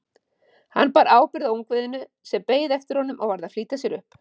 Hann bar ábyrgð á ungviðinu sem beið eftir honum og varð að flýta sér upp.